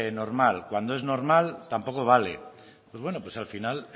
normal cuando es normal tampoco vale pues bueno pues al final